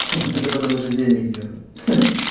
ха-ха это потому что денег нету ха-ха